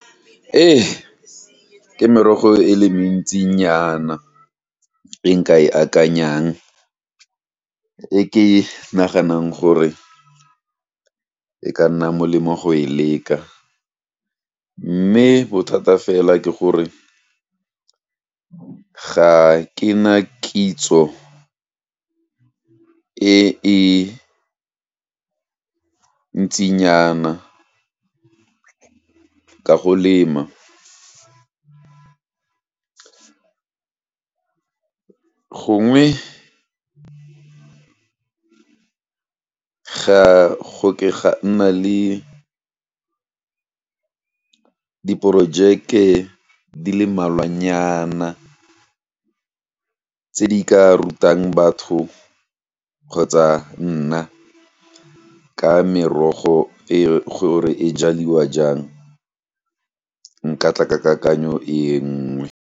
Ee, ke merogo e le mentsinyana, e nka e akanyang, e ke naganang gore e ka nna molemo go e leka, mme bothata fela ke gore, ga ke na kitso e e ntsinyana, ka go lema gongwe, ga go ke ga nna le diporojeke di le mmalwanyana, tse di ka rutang batho, kgotsa nna, ka merogo e, gore e jaliwa jang, nka tla ke kakanyo e nngwe.